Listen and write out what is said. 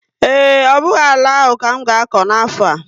Ee, ọ bụghị àlà áhù ka m ga-akọ n'afo a